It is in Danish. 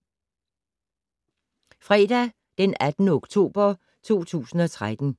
Fredag d. 18. oktober 2013